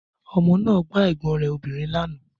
Ọmọ náà gbá ẹ̀gbọ́n rẹ̀ obìnrin lánàá